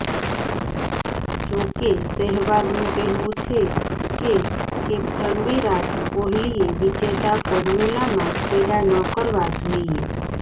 જો કે સેહવાગનું કહેવું છે કે કેપ્ટન વિરાટ કોહલીએ વિજેતા ફોર્મ્યુલામાં ચેડા ન કરવા જોઈએ